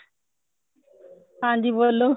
ਹਾਂਜੀ ਬੋਲੋ